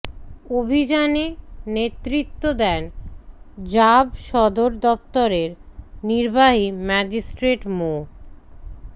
অভিযানে নেতৃত্ব দেন র্যাব সদর দপ্তরের নির্বাহী ম্যাজিস্ট্রেট মো